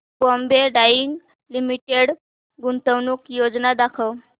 Bombay dyeing limited गुंतवणूक योजना दाखव